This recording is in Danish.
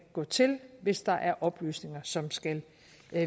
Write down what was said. gå til hvis der er oplysninger som skal